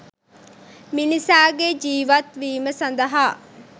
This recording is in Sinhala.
මිනිසාගේ ජීවත් වීම සඳහා